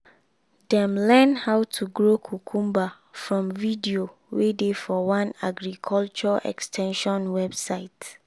dem learn how to grow cucumber from video wey dey for one agriculture ex ten sion website.